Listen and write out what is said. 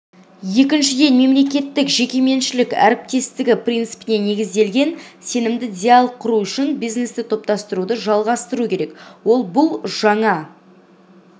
екіншіден мемлекеттік-жекеменшік әріптестігі принципіне негізделген сенімді диалог құру үшін бизнесті топтастыруды жалғастыру керек ол бұл жаңа